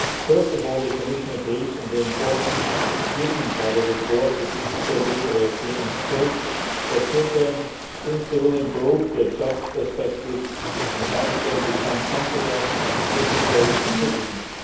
First of all, the Commission agrees on the importance given by the report to digital literacy and skills for children, since these will improve their job perspectives and help them become confident digital citizens.